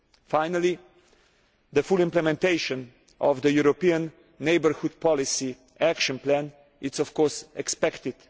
Finally, the full implementation of the European neighbourhood policy action plan is expected.